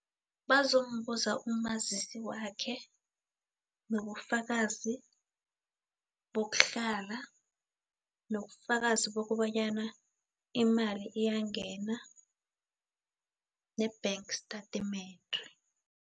Bazombuza umazisi wakhe, nobufakazi bokuhlala, nobufakazi bokobanyana imali iyangena, ne-bank statement.